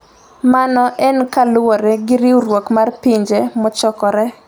Mano en kaluwore gi riwruok mar Pinje Mochokore.